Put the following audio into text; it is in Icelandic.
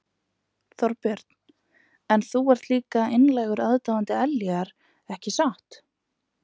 Þorbjörn: En þú ert líka einlægur aðdáandi Ellýjar ekki satt?